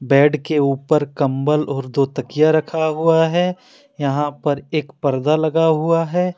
Bed के ऊपर कंबल और दो तकिया रखा हुआ है। यहां पर एक पर्दा लगा हुआ है।